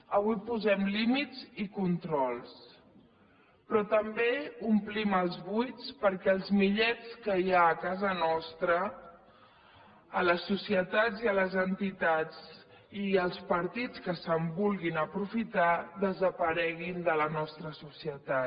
avui posem límits i controls però també omplim els buits perquè els millets que hi ha a casa nostra a les societats i a les entitats i als partits que se’n vulguin aprofitar desapareguin de la nostra societat